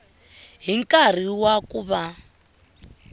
hi nkarhi wa ku va